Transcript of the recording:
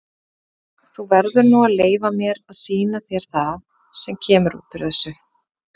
Þú verður nú að leyfa mér að sýna þér það sem kemur út úr þessu.